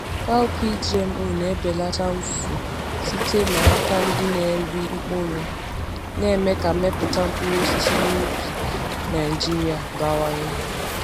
Cowpea GMO na-ebelata mfu site n’aka ndị na-eri mkpụrụ, na-eme ka mmepụta mkpụrụ osisi n’ubi mkpụrụ osisi n’ubi Naijiria bawanye.